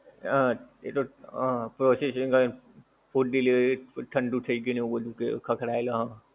હં એ તો હં પ્રોસેસિંગ હોય food delivery ઠંડુ થઈ ગયું ને એવું બધુ ખખડાવેલો હં.